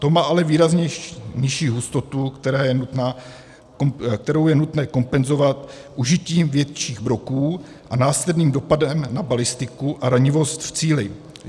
To má ale výrazně nižší hustotu, kterou je nutné kompenzovat užitím větších broků s následným dopadem na balistiku a ranivost v cíli.